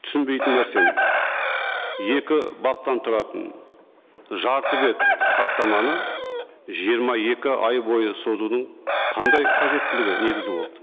түсінбейтін нәрсем екі баптан тұратын жарты бет хаттаманы жиырма екі ай бойы созудың қандай қажеттілігі негіз болды